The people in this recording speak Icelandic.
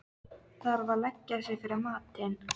Þarf að leggja sig fyrir matinn.